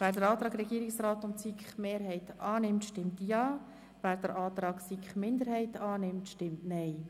Wer den Antrag Regierungsrat/SiK-Mehrheit annimmt, stimmt Ja, wer den Antrag SiK-Minderheit annimmt, stimmt Nein.